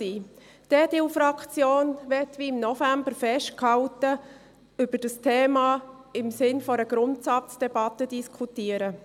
Die EDU-Fraktion möchte, wie im November festgehalten, über dieses Thema im Sinn einer Grundsatzdebatte diskutieren.